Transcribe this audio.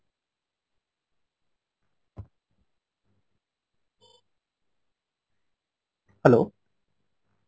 hello